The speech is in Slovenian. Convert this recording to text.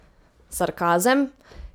Sarkazem?